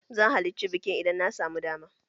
Zan halirci bikin idan na samu dama.